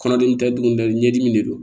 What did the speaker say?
Kɔnɔdimi tɛ dumuni ɲɛdimi de don